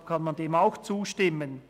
Deshalb kann man dem auch zustimmen.